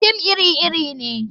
Fim iri-iri ne.